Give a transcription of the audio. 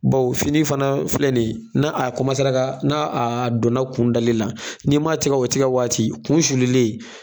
Baw fini fana filɛ ni ye na a kɔmasara kaa n'a a donna kundali la n'i ma tigɛ o tɛgɛ waati kun sululen